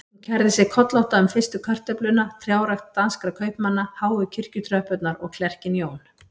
Hún kærði sig kollótta um fyrstu kartöfluna, trjárækt danskra kaupmanna, háu kirkjutröppurnar og klerkinn Jón